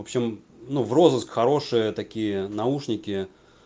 в общем ну в розыск хорошие такие наушники